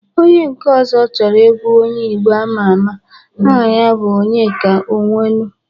Onye nke ọzọ chọrọ egwu onye Igbo ama ama. Aha ya bụ Onyeka Ọnwenu